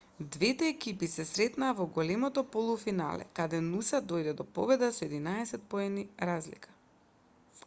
двете екипи се сретнаа во големото полуфинале каде нуса дојде до победа со 11 поени разлика